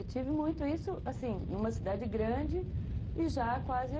Eu tive muito isso, assim, numa cidade grande e já quase